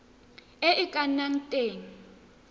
e e ka nnang teng